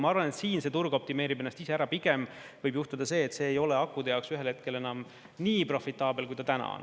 Ma arvan, et siin see turg optimeerib ennast ise ära, pigem võib juhtuda see, et see ei ole akude jaoks ühel hetkel enam nii profitaabel, kui ta täna on.